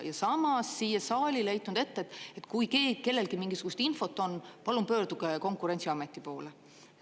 Ja samas siia saalile heitnud ette, et kui kellelegi mingisugust infot on, palun pöörduge Konkurentsiameti poole.